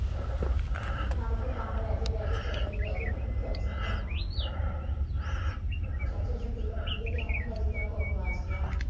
ਆਪਣਾ ਤਾਂ ਕੋਈ ਕੰਮ ਰਹਿ ਜੇ ਰਹਿ ਜੇ ਸੋ ਵਾਰੀ ਰਹਿ ਜੇ ਚਰਚ ਨਿਕਲ ਜਾਣਾ ਚਰਚ ਛੁਟੀ ਹੋਵੇ ਜਿਸ ਤਰਾਂ ਕੁਝ ਗਵਾਚ ਗਿਆ।